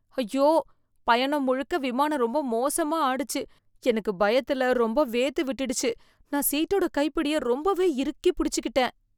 ஐயோ, பயணம் முழுக்க விமானம் ரொம்ப மோசமா ஆடிச்சு. எனக்கு பயத்துல ரொம்ப வேர்த்து விட்டுடுச்சு, நான் சீட்டோட கைப்பிடிய ரொம்பவே இறுக்கி புடிச்சுக்கிட்டேன்.